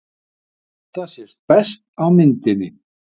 Þetta sést best á myndinni.